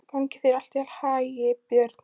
Gangi þér allt í haginn, Björn.